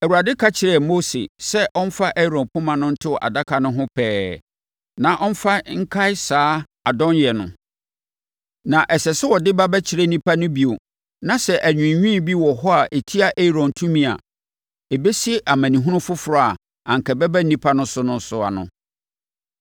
Awurade ka kyerɛɛ Mose sɛ ɔmfa Aaron poma no nto adaka no ho pɛɛ na ɔmfa nkae saa adɔnyɛ no. Na ɛsɛ sɛ ɔde ba bɛkyerɛ nnipa no bio na sɛ anwiinwii bi wɔ hɔ a ɛtia Aaron tumi a, ɛbɛsi amanehunu foforɔ a anka ɛbɛba nnipa no so no ano.